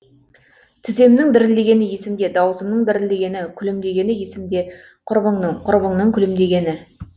тіземнің дірілдегені есімде даусымның дірілдегені күлімдегені есімде құрбыңның құрбыңның күлімдегені